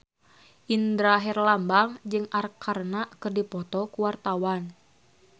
Indra Herlambang jeung Arkarna keur dipoto ku wartawan